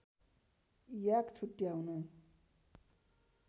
याक छुट्याउन